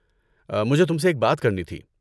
مجھے تم سے ایک بات کرنی تھی۔